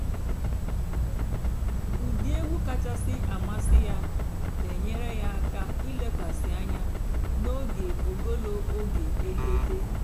ụ́dị́ ègwú kàchàsị́ àmásị́ yá nà-ènyééré yá àká ìlékwasị́ ànyá n'óge ògólo óge èdédé.